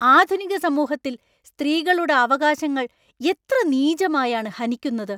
ആധുനിക സമൂഹത്തിൽ സ്ത്രീകളുടെ അവകാശങ്ങൾ എത്ര നീചമായാണ് ഹനിക്കുന്നത്!